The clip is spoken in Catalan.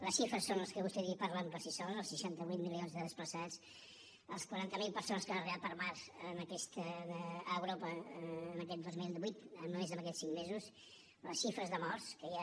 les xifres són les que vostè ha dit i parlen per si soles els seixanta vuit milions de desplaçats les quaranta mil persones que han arribat per mar en aquesta europa aquest dos mil divuit només en aquests cinc mesos les xifres de morts que hi ha